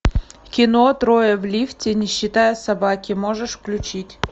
кино трое в лифте не считая собаки можешь включить